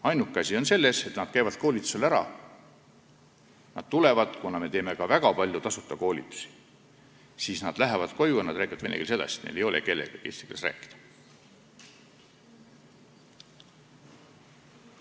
Ainuke asi on selles, et nad käivad koolitusel ära – me teeme väga palju tasuta koolitusi –, lähevad koju ja räägivad vene keeles edasi, neil ei ole kellegagi eesti keeles rääkida.